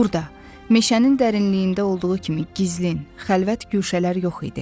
Burada meşənin dərinliyində olduğu kimi gizlin, xəlvət guşələr yox idi.